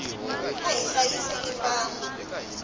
a hi hlayiseni mbango